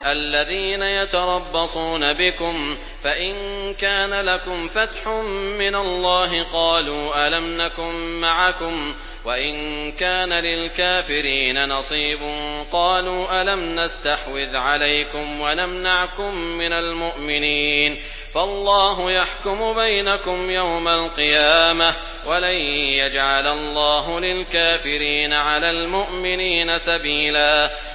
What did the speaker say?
الَّذِينَ يَتَرَبَّصُونَ بِكُمْ فَإِن كَانَ لَكُمْ فَتْحٌ مِّنَ اللَّهِ قَالُوا أَلَمْ نَكُن مَّعَكُمْ وَإِن كَانَ لِلْكَافِرِينَ نَصِيبٌ قَالُوا أَلَمْ نَسْتَحْوِذْ عَلَيْكُمْ وَنَمْنَعْكُم مِّنَ الْمُؤْمِنِينَ ۚ فَاللَّهُ يَحْكُمُ بَيْنَكُمْ يَوْمَ الْقِيَامَةِ ۗ وَلَن يَجْعَلَ اللَّهُ لِلْكَافِرِينَ عَلَى الْمُؤْمِنِينَ سَبِيلًا